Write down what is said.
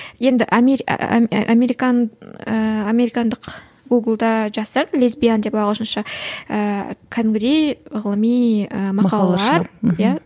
енді американдық гугул да жазсаң лесбиян деп ағылшынша ііі кәдімгідей ғылыми ы мақалалар иә